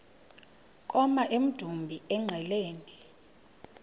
koma emdumbi engqeleni